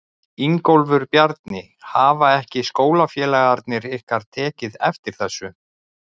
Ingólfur Bjarni: Hafa ekki skólafélagarnir ykkar tekið eftir þessu?